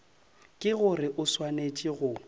ke gore o swanetše go